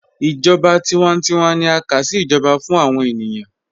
Ijọba tiwántíwà ni a ká sí ijọba fún awọn ènìyàn